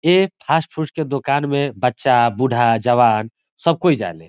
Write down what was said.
ए fast food के दोकान में बच्चा बूढ़ा जवान सब कोई जाले।